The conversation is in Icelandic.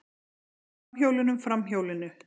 Undir framhjólunum, framhjólinu.